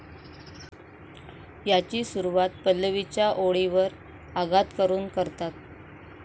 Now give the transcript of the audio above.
याची सुरवात पल्लवीच्या ओळीवर आघात करून करतात.